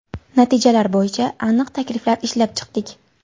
Natijalar bo‘yicha aniq takliflar ishlab chiqdik.